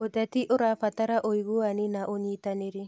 ũteti ũrabatara ũiguani na ũnyitanĩri.